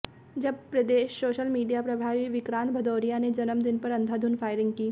जब प्रदेश social media प्रभारी विक्रांत भदौरिया ने जन्मदिन पर अंधाधुंध फायरिंग की